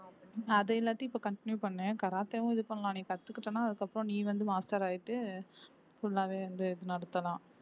அதை எல்லாத்தையும் இப்ப continue பண்ணு கராத்தேவும் இது பண்ணலாம் நீ கத்துக்கிட்டன்னா அதுக்கப்புறம் நீ வந்து master ஆயிட்டு full ஆவே வந்து இது நடத்தலாம்